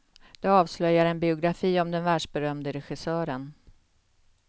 Det avslöjar en biografi om den världsberömde regissören.